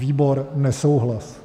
Výbor: nesouhlas.